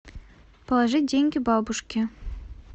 положить деньги бабушке